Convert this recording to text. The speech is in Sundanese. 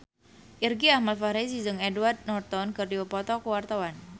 Irgi Ahmad Fahrezi jeung Edward Norton keur dipoto ku wartawan